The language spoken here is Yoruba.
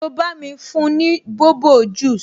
So bá mi fún ni bobo juice?